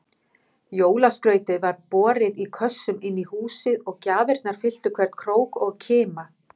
Jólaskrautið var borið í kössum inní húsið og gjafirnar fylltu hvern krók og kima.